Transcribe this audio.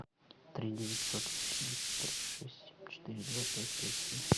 три девятьсот восемьдесят три шесть семь четыре два пять пять семь